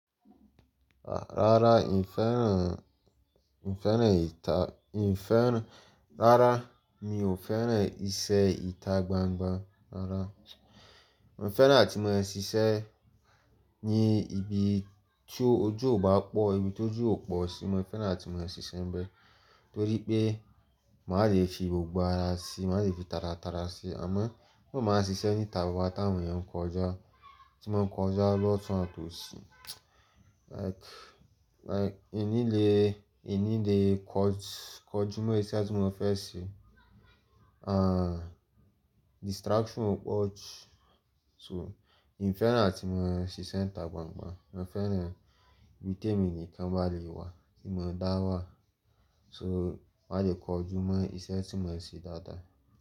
Rárá, ì ń fẹ́ràn, ì ń fẹ́ràn ìta, ì ń fẹ́ràn-- rárá, mi ò fẹ́ràn iṣẹ́ ìta gbangba rárá. Mo fẹ́ràn áti máa ń ṣiṣẹ́ ní ibi tí ojú ò bá pọ̀, ibi tó ojú ò pọ̀ sí, mo fẹ́ràn láti máa ń ṣiṣẹ́ bẹ́ẹ́ torí pé màá le fi gbogbo ara sí, màá le fi taratara sí. Àmọ́ mo máa ń ṣiṣẹ́ níta gbogbo táwò ní ń kọjá tí wọ́n ń kọjá lọ́tùn àtòsí. Like, like, èin ní lè, èin ní lè kó, kó ojúmọ́ iṣẹ́ tí mo fẹ́ ṣe. Ah, distraction ò pọ̀ jù. So, ì fẹ́ràn áti máa ń ṣiṣẹ́ níta gbangba. Mo fẹ́ràn ibi tí èmi nìkan bá le wà, kí mo dá wà. So, màá le kó ojúmọ́ iṣẹ́ tí mo ń ṣe dáadáa.